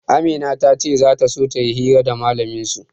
Amina ta ce za ta so ta yi hira da mallamin su.